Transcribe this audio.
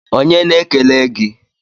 Onye na-ekele gi?